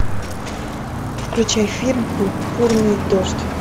включай фильм пурпурный дождь